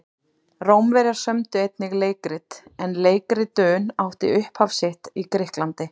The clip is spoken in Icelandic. Rómverjar sömdu einnig leikrit en leikritun átti upphaf sitt í Grikklandi.